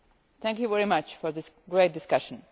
Thank you very much for this great discussion.